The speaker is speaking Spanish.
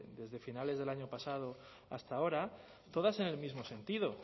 desde finales del año pasado hasta ahora todas en el mismo sentido